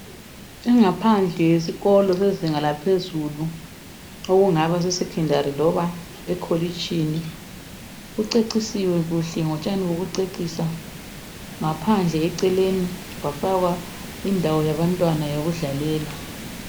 Ingaphandle yesikolo sezinga laphezulu okungaba se secondary noma ekholitshini. Kucecisiwe kuhle ngotshani bokucecisa ngaphandle kwafakwa indawo yabantwana eyokudlalela.